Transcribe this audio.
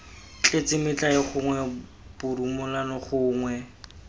tletse metlae gongwe borumolano gongwe